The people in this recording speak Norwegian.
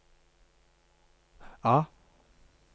A